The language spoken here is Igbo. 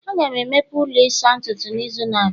Aga m emepe ụlọ ịsa ntutu n'izu na-abịa